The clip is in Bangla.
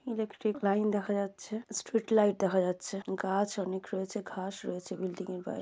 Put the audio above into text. ইলেট্রিক্ট লাইন দেখা যাচ্ছে স্ট্রিট লাইট দেখা যাচ্ছে গাছ অনেক রয়েছে ঘাস রয়েছে বিল্ডিং এর গায়ে।